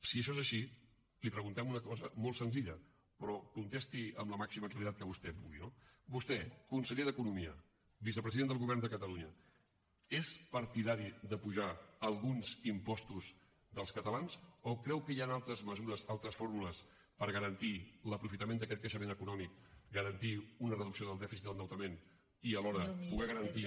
si això és així li preguntem una cosa molt senzilla però contesti amb la màxima claredat que vostè pugui no vostè conseller d’economia vicepresident del govern de catalunya és partidari d’apujar alguns impostos dels catalans o creu que hi han altres mesures altres fórmules per garantir l’aprofitament d’aquest creixement econòmic garantir una reducció del dèficit de l’endeutament i alhora poder garantir